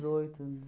anos.